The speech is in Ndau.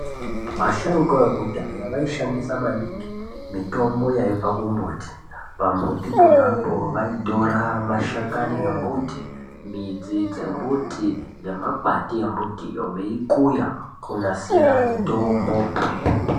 Vasharukwa vekudhaya vaishandisa maningi mitombo yaibva kumbuti. Pambuti ponapo vaitora mashakanyi embuti, midzi yembuti nemakwati embuti veikuya kunasira mitombo